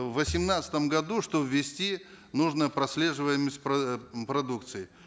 в восемнадцатом году чтобы ввести нужно прослеживаемость э продукции